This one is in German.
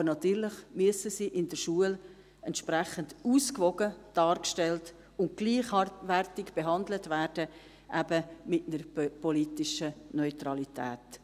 Aber natürlich müssen sie in der Schule entsprechend ausgewogen dargestellt und gleichwertig behandelt werden, eben mit einer politischen Neutralität.